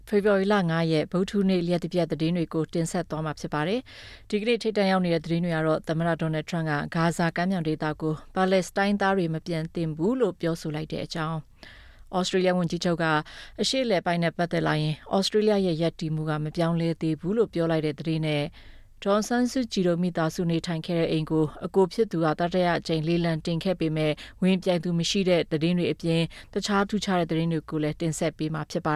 ဖေဖော်ဝါရီ ၅ ရက် လျှပ်တပြတ် သတင်း ဒီကနေ့ ထိပ်တန်းရောက်နေတဲ့ သတင်းတွေကတော့ သမ္မတ ဒေါ်နယ်ထရန့်က ဂါဇာကမ်းမြောင်ဒေသကို ပါလက်စတိုင်းသားတွေ မပြန်သင့်ဘူးလို့ ပြောလိုက်တဲ့အကြောင်း ဩစတြေးလျ ဝန်ကြီးချုပ်က အရှေ့အလယ်ပိုင်းနဲ့ ပတ်သက်လာရင် ဩစတြေးလျရဲ့ ရပ်တည်မှုက မပြောင်းလဲသေးဘူးလို့ ပြောလိုက်တဲ့သတင်းနဲ့ ဒေါ်အောင်ဆန်းစုကြည်တို့ မိသားစု နေထိုင်ခဲ့တဲ့အိမ်ကို အစ်ကို ဖြစ်သူက တတိယအကြိမ် လေလံတင်ခဲ့ပေမဲ့ ဝင်ပြိုင်သူ မရှိတဲ့သတင်းတွေအပြင် တခြား ထူးခြားတဲ့ အကြောင်းတွေကိုလည်း တင်ဆက်ပေးမှာ ဖြစ်ပါ